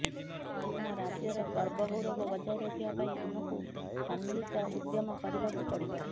ଆମ ରାଜ୍ୟର ଗର୍ବ ଗୌରବ ବଜାୟ ରଖିବା ପାଇଁ ଆମକୁ ସମ୍ମିଳିତ ଉଦ୍ୟମ କରିବାକୁ ପଡ଼ିବ